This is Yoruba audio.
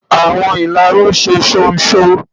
Awọn ilárún ṣe ṣonṣo.